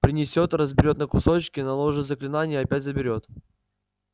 принесёт разберёт на кусочки наложит заклинание и опять заберёт